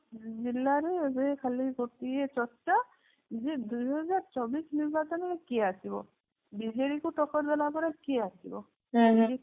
ସବୁ ଜିଲ୍ଲା ରେ ଏବେ ଖାଲି ଗୋଟିଏ ଚର୍ଚ୍ଚା ଯେ ସେ ଦୁଇ ହଜାର ଚବିଶ ନିର୍ବାଚନରେ କିଏ ଆସିବ ବିଜେଡି କୁ ଟକ୍କର ଦେଲା ପରେ କିଏ ଆସିବ